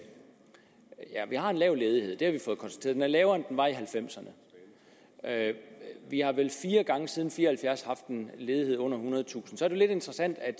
lav ledighed det har vi fået konstateret den er lavere end den var i nitten halvfems ’erne vi har vel fire gange siden nitten fire og halvfjerds haft en ledighed under ethundredetusind så er det lidt interessant at